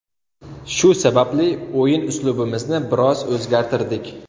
Shu sababli o‘yin uslubimizni biroz o‘zgartirdik.